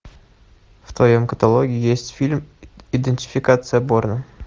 в твоем каталоге есть фильм идентификация борна